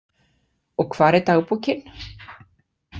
Og hvar er dagbókin?